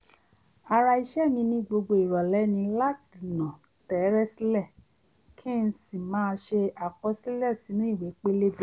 ara ìṣe mi ní gbogbo ìrọ̀lẹ́ ni láti nà tẹ́ẹ́rẹ́ sílẹ̀ kí n sì máà ṣe àkọsílẹ̀ sínú ìwé pélébé